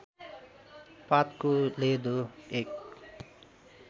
पातको लेदो एक